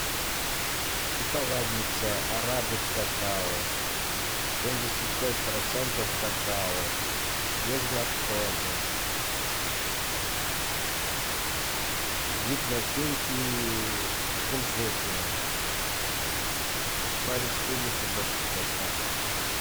шоколадница арабик какао семьдесят пять процентов какао без лактозы вид начинки кунжутная по республике башкортостан